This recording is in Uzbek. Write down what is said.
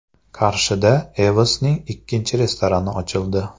Qarshida EVOS’ning ikkinchi restorani ochildi.